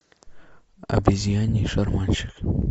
обезьяний шарманщик